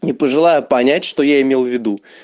не пожелаю понять что я имел в виду